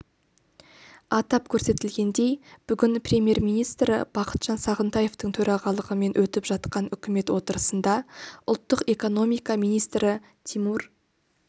атап көрсетілгендей бүгін премьер-министрі бақытжан сағынтаевтың төрағалығымен өтіп жатқан үкімет отырысында ұлттық экономика министрі тимур